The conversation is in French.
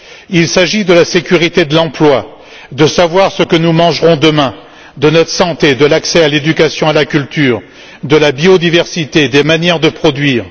Il s'agit de la sécurité de l'emploi, de savoir ce que nous mangerons demain, de notre santé, de l'accès à l'éducation et à la culture, de la biodiversité, des manières de produire.